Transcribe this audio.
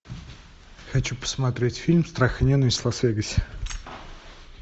хочу посмотреть фильм страх и ненависть в лас вегасе